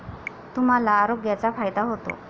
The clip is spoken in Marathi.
तुम्हांला आरोग्याचा फायदा होतो.